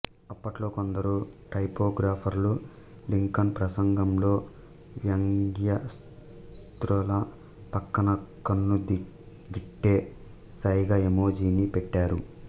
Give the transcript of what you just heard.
అప్పట్లో కొందరు టైపోగ్రాఫర్లు లింకన్ ప్రసంగంలో వ్యంగ్యాస్త్రాల పక్కన కన్నుగీటే సైగ ఎమోజీని పెట్టారు